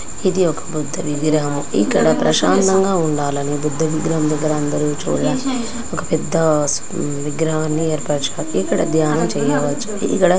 ఇది ఒక బుద్ధ విగ్రహము. ఇక్కడ ప్రశాంతంగా ఉండాలని బుద్ధ విగ్రహం దగ్గర అందరూ కూడా ఒక పెద్ద విగ్రహాన్ని ఏర్పరచుకున్నారు. ఇక్కడ ధ్యానం చేయవచ్చు. ఇక్కడ--